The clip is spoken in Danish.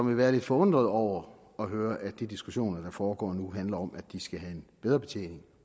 vil være lidt forundret over at høre at de diskussioner der foregår nu handler om at de skal have en bedre betjening